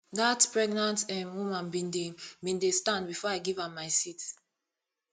dat pregnant um woman bin dey bin dey stand before i give am my seat